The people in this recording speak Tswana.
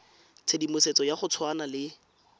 tshedimosetso ya go tshwana le